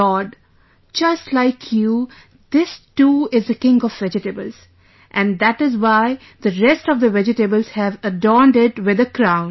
Lord, just like you this too is the king of vegetables and that is why the rest of the vegetables have adorned it with a crown